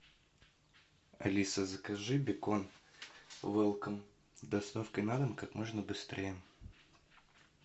алиса закажи бекон велком с доставкой на дом как можно быстрее